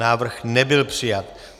Návrh nebyl přijat.